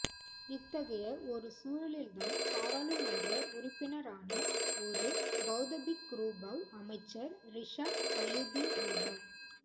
இத்தகைய ஒரு சூழலில்தான் பாராளுமன்ற உறுப்பினரான ஒரு பௌத்தபிக்குரூபவ் அமைச்சர் றிஷாட் பதியுதீன்ரூபவ்